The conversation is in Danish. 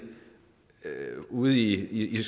ude i